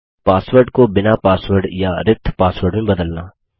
password को बिना password या रिक्त पासवर्ड में बदलना